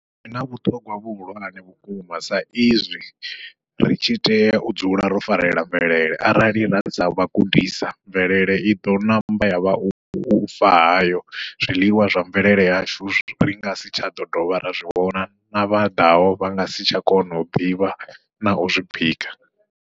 Zwi na vhuṱhongwa vhuhulwane vhukuma sa izwi ri tshi tea u dzula ro farela mvelele, arali ra savha gudisa mvelele iḓo ṋamba yavha ufa hayo, zwiḽiwa zwa mvelele yashu ri ngasi tsha ḓo dovha ra zwi vhona na vha ḓaho vha ngasi tsha kona u ḓivha nau zwi bika.